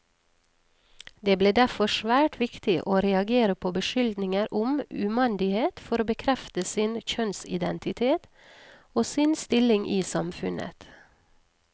Det ble derfor svært viktig å reagere på beskyldninger om umandighet for å bekrefte sin kjønnsidentitet, og sin stilling i samfunnet.